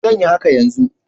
Zan yi haka yanzu.